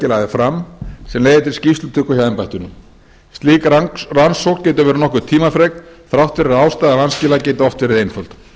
ekki lagður fram sem leiðir til skýrslutöku hjá embættinu slík rannsókn getur verið nokkuð tímafrek þrátt fyrir að ástæða vanskila geti oft verið einföld